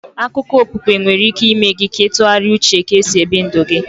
Akụkọ okpukpe nwere ike ịme gị ị tụgharịa uche ka e si ebi ndụ gi